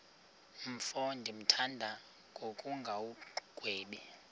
mfo ndimthanda ngokungagwebi